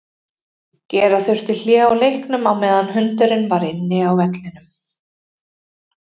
Gera þurfti hlé á leiknum á meðan hundurinn var inn á vellinum.